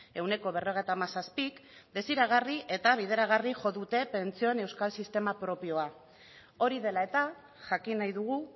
ehuneko berrogeita hamazazpik desiragarri eta bideragarri jo dute pentsioen euskal sistema propioa hori dela eta jakin nahi dugu